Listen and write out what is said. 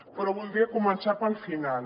però voldria començar pel final